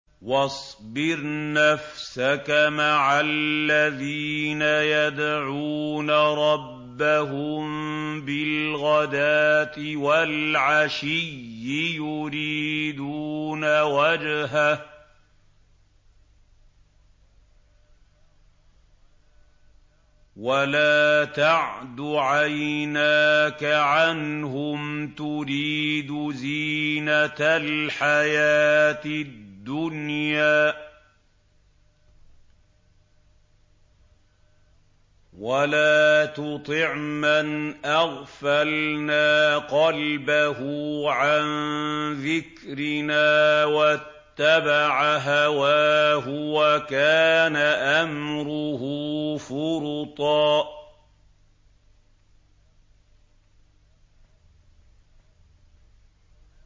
وَاصْبِرْ نَفْسَكَ مَعَ الَّذِينَ يَدْعُونَ رَبَّهُم بِالْغَدَاةِ وَالْعَشِيِّ يُرِيدُونَ وَجْهَهُ ۖ وَلَا تَعْدُ عَيْنَاكَ عَنْهُمْ تُرِيدُ زِينَةَ الْحَيَاةِ الدُّنْيَا ۖ وَلَا تُطِعْ مَنْ أَغْفَلْنَا قَلْبَهُ عَن ذِكْرِنَا وَاتَّبَعَ هَوَاهُ وَكَانَ أَمْرُهُ فُرُطًا